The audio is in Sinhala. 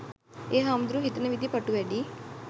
එ හාමුදුරුවො හිතන විදිහ ප‍ටු වැඩි